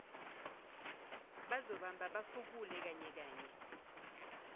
bazobamba bafukule kanyekanye